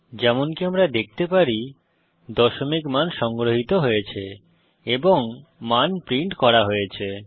যেমনকি আমরা দেখতে পারি দশমিক মান সংগ্রহিত হয়েছে এবং মান প্রিন্ট করা হয়েছে